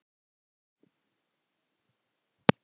Þú treystir þessu ekki?